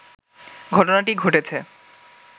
ঘটনাটি ঘটেছে